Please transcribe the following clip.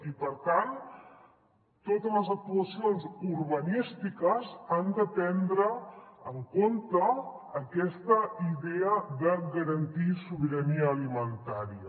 i per tant totes les actuacions urbanístiques han de prendre en compte aquesta idea de garantir sobirania alimentària